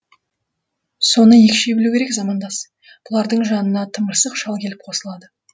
соны екшей білу керек замандас с бұлардың жанына тымырсық шал келіп қосылады